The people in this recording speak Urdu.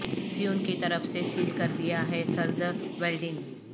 سیون کی طرف سے سیل کر دیا ہے سرد ویلڈنگ